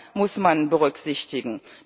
Auch das muss man berücksichtigen.